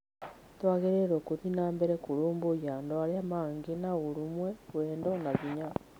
Tũagĩrĩirwo gũthiĩ nambere kũrũmbũiya andũ arĩa angĩ na ũrũmwe, wendo na hinya.